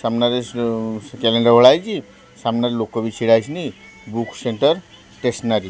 ସାମ୍ନାରେ ଶୁ ଶୁ କ୍ୟାଲେଣ୍ଡର ଓହ୍ଲା ହେଇଚି ସାମ୍ନାରେ ଲୋକ ବି ଛିଡ଼ା ହେଇଚନ୍ତି ବୁକ୍ ସେଣ୍ଟର ଷ୍ଟେସନାରୀ ।